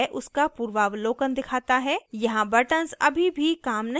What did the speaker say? यहाँ buttons अभी भी काम नहीं करते हैं